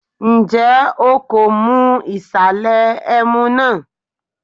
Ǹjẹ́ o kò mu ìsàlẹ̀ ẹmu náà?